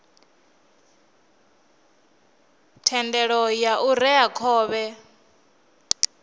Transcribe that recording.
thendelo ya u rea khovhe